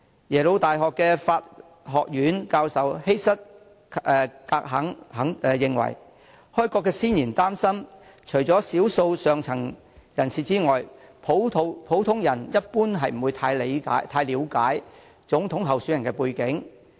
耶魯大學法學院教授希瑟.格肯認為，開國先賢擔心，除少數上層人士外，普通人一般不太了解總統候選人的背景。